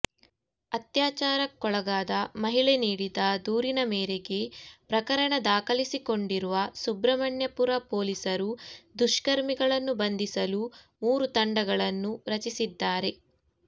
ಅತ್ಯಾಚಾರಕ್ಕೊಳಗಾದ ಮಹಿಳೆ ನೀಡಿದ ದೂರಿನ ಮೇರೆಗೆ ಪ್ರಕರಣ ದಾಖಲಿಸಿಕೊಂಡಿರುವ ಸುಬ್ರಹ್ಮಣ್ಯಪುರ ಪೊಲೀಸರು ದುಷ್ಕರ್ಮಿಗಳನ್ನು ಬಂಧಿಸಲು ಮೂರು ತಂಡಗಳನ್ನು ರಚಿಸಿದ್ದಾರೆ